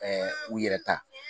Ɛɛ u yɛrɛ ta